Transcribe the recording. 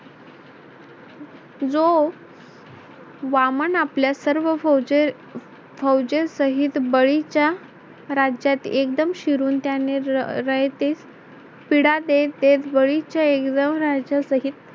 जो वामन आपल्या सर्व फौजे फौजेसहित शहीद बळीच्या राज्यात एकदम शिरुन त्याने रयतेस पीडा देत देत बळीच्या एक दोन राज्यांसहित